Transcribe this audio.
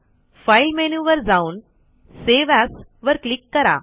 file मेनूवर जाऊन save as वर क्लिक करा